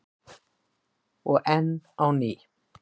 Og enn á ný.